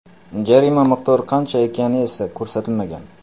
Jarima miqdori qancha ekani esa ko‘rsatilmagan.